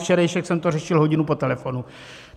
Včerejšek jsem to řešil hodinu po telefonu.